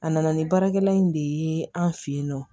A nana ni baarakɛla in de ye an fɛ yen nɔ